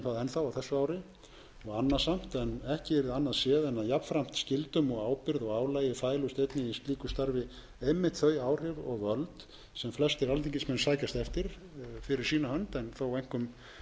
þá á þessu ári og annasamt en ekki yrði annað séð en að jafnframt skyldum og ábyrgð og álagi fælust einnig í slíku starfi einmitt þau áhrif og völd sem flestir alþingismenn sækjast eftir fyrir sína hönd en þó einkum skyldi